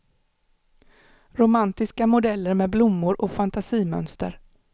Romantiska modeller med blommor och fantasimönster.